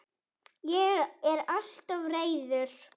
Ég er alltof reiður.